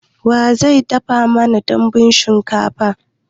Wa zai dafa mana dambun shinkafan?